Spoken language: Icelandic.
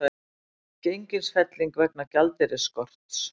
Gengisfelling vegna gjaldeyrisskorts